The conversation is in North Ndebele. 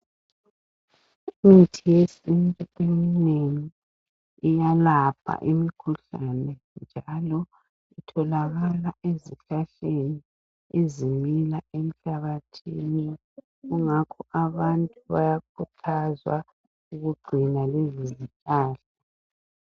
Imithi yesithu eminengi iyalapha imikhuhlane, njalo itholakala ezihlahleni ezimila emhlabathini. Kungakho abantu bayakuthazwa ukugcina lezi zihlahla.